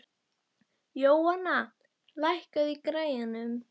Jóanna, lækkaðu í græjunum.